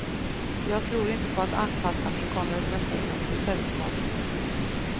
Jag tror inte på att anpassa min konversation efter sällskapet.